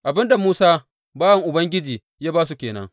Abin da Musa bawan Ubangiji ya ba su ke nan.